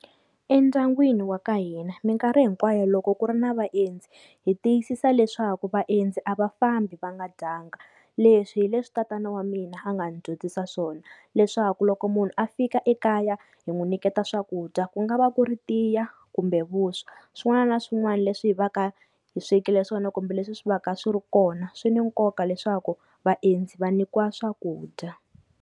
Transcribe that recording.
Endyangwini wa ka hina minkarhi hinkwayo loko ku ri na vaendzi hi tiyisisa leswaku vaendzi a va fambi va nga dyanga, leswi hi leswi tatana wa mina a nga ndzi dyondzisa swona leswaku loko munhu a fika ekaya hi n'wi nyiketa swakudya, ku nga va ku ri tiya kumbe vuswa swin'wana na swin'wana leswi hi va ka hi swekile swona kumbe leswi swi va ka swi ri kona swi ni nkoka leswaku vaendzi va nyikiwa swakudya.